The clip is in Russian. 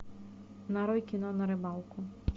нарой кино на рыбалку